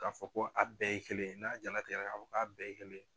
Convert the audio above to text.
Ka fɔ ko a bɛɛ ye kelen n'a jalatigɛ la ka fɔ ko a bɛɛ ye kelen ye.